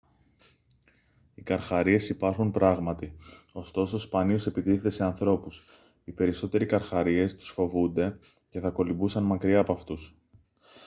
οι καρχαρίες υπάρχουν πράγματι ωστόσο σπανίως επιτίθενται σε ανθρώπους οι περισσότεροι καρχαρίες τους φοβούνται και θα κολυμπούσαν μακριά απ' αυτούς